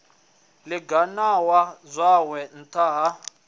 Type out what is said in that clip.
ḓi ganama zwawe nṱtha ha